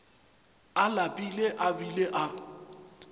a lapile a bile a